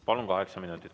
Palun, kaheksa minutit.